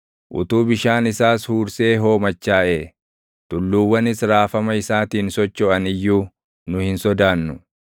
Utuu bishaan isaas huursee hoomachaaʼee tulluuwwanis raafama isaatiin sochoʼan iyyuu nu hin sodaannu.